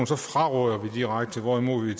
så fraråder vi det direkte hvorimod